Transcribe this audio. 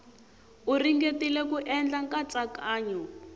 u ringetile ku endla nkatsakanyo